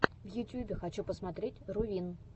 в ютьюбе хочу посмотреть рувин